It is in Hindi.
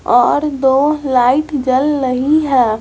और दो लाइट जल लही हैं।